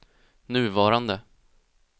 nuvarande